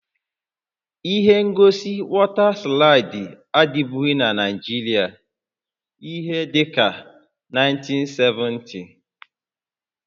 Ihe ngosi wọta slaịdị adịbụghị na Naịjirịa ihé dịka na 1970